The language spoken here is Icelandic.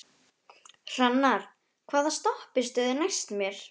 Hrannar, hvaða stoppistöð er næst mér?